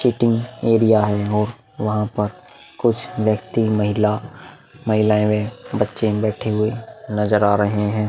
Cheating area है और वहाँ पर कुछ व्यक्ति महिला महिलाये बच्चे बेठे हुए नजर आ रहे हैं।